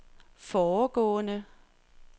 foregående